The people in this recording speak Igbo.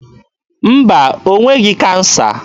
Mba, o nweghị kansa.